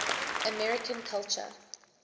american culture